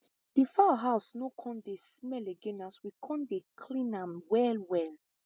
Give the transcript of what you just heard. the fowl house no come dey smell again as we con dey clean am well well